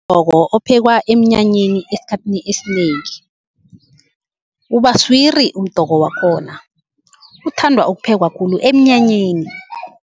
Umdoko ophekwa emnyanyeni, esikhathini esinengi ubaswiri umdoko wakhona. Uthandwa ukuphekwa khulu emnyanyeni.